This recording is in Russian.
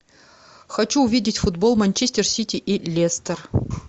хочу увидеть футбол манчестер сити и лестер